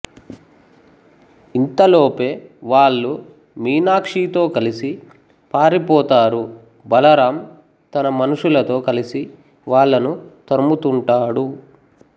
ఇంతలోపే వాళ్ళు మీనాక్షితో కలిసి పరిపోతారు బలరాం తన మనుషులతో కలిసి వాళ్ళని తరుముతుంటాడు